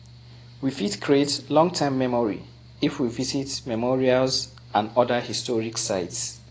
We fit create long time memory if we visit memorials and oda historic sites